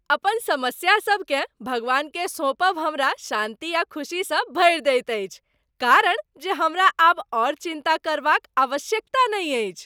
अपन समस्यासभकेँ भगवानकेँ सौंपब हमरा शान्ति आ खुशीसँ भरि दैत अछि कारण जे हमरा आब आओर चिन्ता करबाक आवश्यकता नहि अछि।